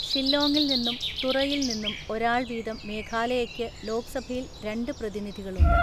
ഷില്ലോങ്ങിൽ നിന്നും തുറയിൽ നിന്നും ഒരാൾ വീതം മേഘാലയയ്ക്ക് ലോക്‌സഭയിൽ രണ്ട് പ്രതിനിധികളുണ്ട്.